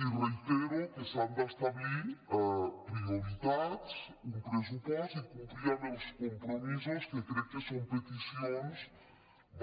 i reitero que s’han d’establir prioritats un pressupost i complir amb els compromisos que crec que són peticions